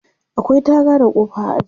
Akwai taga da kofa a aji.